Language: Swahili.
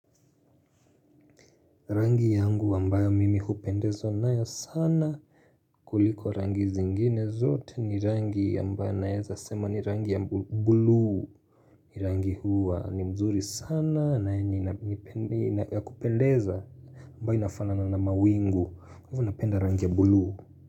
Rangi yangu ambayo mimi kupendezo nae sana kuliko rangi zingine zote ni rangi ambayo naeza sema ni rangi ya blue ni rangi huwa ni mzuri sana na ni ya kupendeza ambayo inafana na mawingu kwa ivo napenda rangi ya blue.